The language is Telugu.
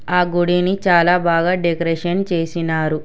ఆ గుడ్ ఈవెనింగ్ చాలా బాగా డెకరేషన్ చేసినారు.